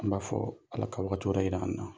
An b'a fɔɔ Ala ka wagati wɛrɛ yira an' na.